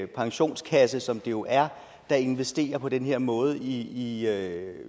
pensionskasse som det jo er der investerer på den her måde i i